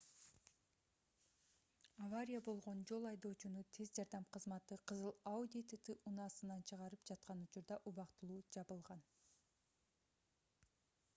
авария болгон жол айдоочуну тез жардам кызматы кызыл audi tt автоунаасынан чыгарып жаткан учурда убактылуу жабылган